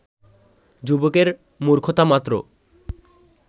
যুবকের মূর্খতামাত্র